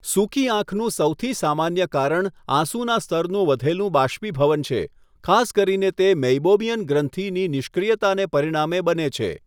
સુકી આંખનું સૌથી સામાન્ય કારણ આંસુના સ્તરનું વધેલું બાષ્પીભવન છે, ખાસ કરીને તે મેઇબોમિયન ગ્રંથિની નિષ્ક્રિયતાને પરિણામે બને છે.